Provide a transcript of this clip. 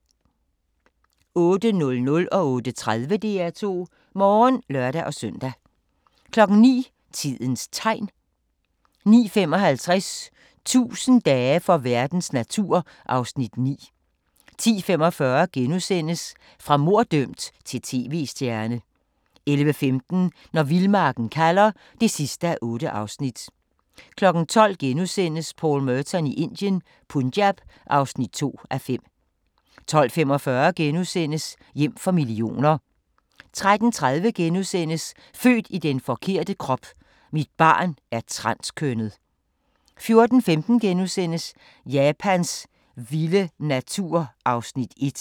08:00: DR2 Morgen (lør-søn) 08:30: DR2 Morgen (lør-søn) 09:00: Tidens Tegn 09:55: 1000 dage for verdens natur (Afs. 9) 10:45: Fra morddømt til tv-stjerne * 11:15: Når vildmarken kalder (8:8) 12:00: Paul Merton i Indien - Punjab (2:5)* 12:45: Hjem for millioner * 13:30: Født i den forkerte krop: Mit barn er transkønnet * 14:15: Japans vilde natur (1:3)*